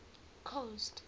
coast